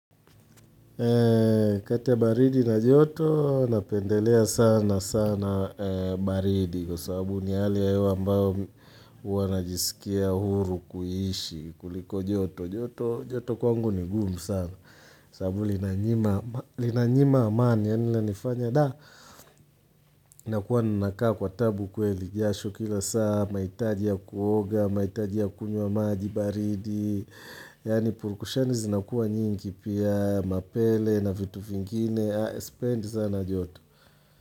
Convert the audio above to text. Kati ya baridi na joto, napendelea sana sana kati ya baridi na joto, napendelea sana sana joto kwangu ni gumu sana sababu inanyima amani ya nila nifanya Da, nakuwa nanakaa kwa tabu kweli jashu kila saa mahitaji ya kuoga, mahitaji ya kunywa maji baridi Yaani purukushani zinakua nyingi pia mapele na vitu vingine sipendi sana joto.